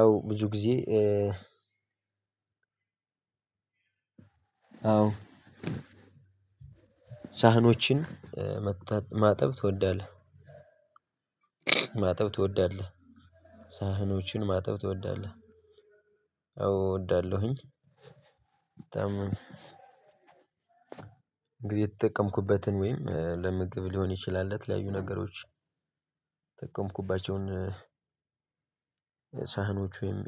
አዎ ብዙ ጊዜ አዎ ሳህኖችን ማጠብ ትወዳለህ? ማጠብ ትወዳለህ? ሳህኖችን ማጠብ ትወዳለህ? አዎ እወዳለሁኝ በጣም። እንግዲህ የተጠቀምኩበትን ወይም ለምግብ ሊሆን ይችላል ለተለያዩ ነገሮች የተጠቀምኩባቸውን ሳህኖች ወይም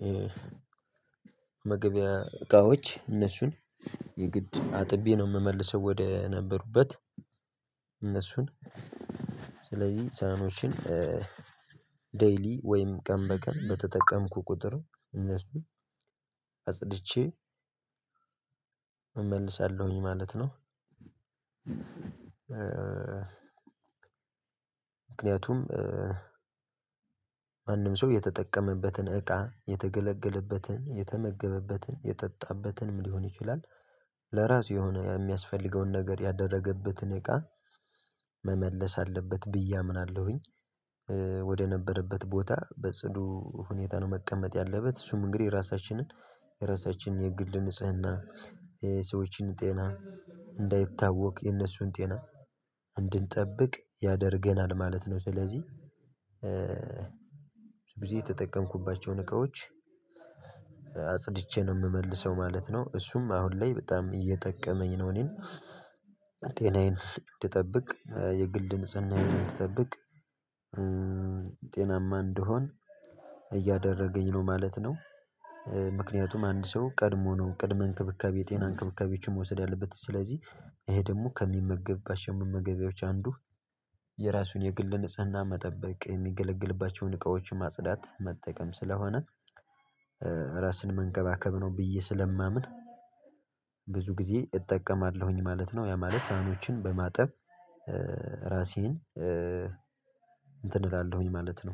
መመገቢያ እቃዎች እነሱን የግድ አጥቤ ነው የምመልሰው ወደ ነበሩበት። እነሱን ስለዚህ ሳህኖችን 'ዴይሊ' ወይም ቀን በቀን በተጠቀምኩ ቁጥር እነሱን አጽድቼ እመልሳለሁኝ ማለት ነው። ምክንያቱም ማንም ሰው የተጠቀመበትን እቃ የተገለገለበትን የተመገበበትን የጠጣበትንም ሊሆን ይችላል ለራሱ የሆነ የሚያስፈልገውን ነገር ያደረገበትን እቃ መመለስ አለበት ብዬ አምናለሁኝ። ወደነበረበት ቦታ በጽዱ ሁኔታ ነው መቀመጥ ያለበት። እሱም እንግዲህ ራሳችንን የራሳችንን የግል ንጽህና የሰዎችን ጤና እንዳይታወክ የነሱን ጤና እንድንጠብቅ ያደርገናል ማለት ነው። ስለዚህ ብዙ የተጠቀምኩባቸውን እቃዎች አጽድቼ ነው የምመልሰው ማለት ነው። እሱም አሁን ላይ በጣም እየጠቀመኝ ነው እኔን። ጤናዬን እንድጠብቅ የግል ንጽህናዬን እንድጠብቅ ጤናማ እንድሆን እያደረገኝ ነው ማለት ነው። ምክንያቱም አንድ ሰው ቀድሞ ነው ቅድሚያ እንክብካቤ የጤና እንክብካቤዎችን መውሰድ አለበት። ስለዚህ ይሄ ደግሞ ከሚመገባቸው መመገቢያዎች አንዱ የራሱን የግል ንጽህና መጠበቅ የሚገለገልባቸውን እቃዎች ማጽዳት መጠቀም ስለሆነ ራስን መንከባከብ ነው ብዬ ስለማምን ብዙ ጊዜ እጠቀማለሁኝ ማለት ነው። ያ ማለት ሳህኖችን በማጠብ ራሴን እንትን እላለሁኝ ማለት ነው።